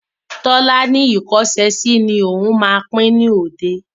Tọ́lá ni ìkọ́ṣẹsì ni òun má pín ni òde.